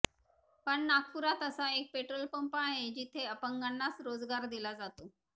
पण नागपूरात असा एक पेट्रोल पंप आहे जिथे अपंगानाच रोजगार दिला जातो